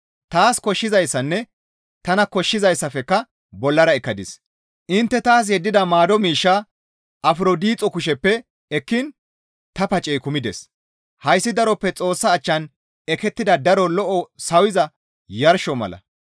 Taas koshshizayssanne tana koshshizayssafekka bollara ekkadis; intte taas yeddida maado miishshaa Afrodixo kusheppe ekkiin ta pacey kumides; hayssi daroppe Xoossa achchan ekettida daro lo7o sawiza yarsho mala.